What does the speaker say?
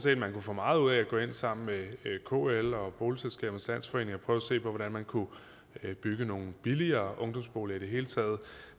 at man kunne få meget ud af at gå ind sammen med kl og boligselskabernes landsforening og prøve at se på hvordan man kunne bygge nogle billigere ungdomsboliger i det hele taget